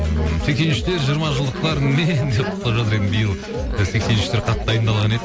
ы сексен үштер жиырма жылдықтарыңмен деп құттықтап жатыр енді биыл і сексен үштер қатты дайындаған еді